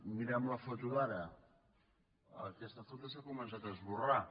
mirem la foto d’ara aquesta foto s’ha començat a esborrar